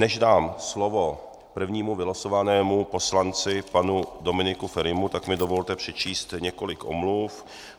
Než dám slovo prvnímu vylosovanému poslanci panu Dominiku Ferimu, tak mi dovolte přečíst několik omluv.